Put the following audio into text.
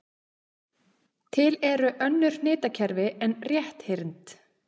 Til eru önnur hnitakerfi en rétthyrnd.